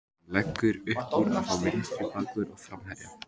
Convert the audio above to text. Hann leggur uppúr að fá vinstri bakvörð og framherja.